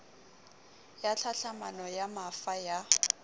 ya tlhahlamano ya mafa ya